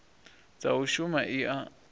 dza u shuma i a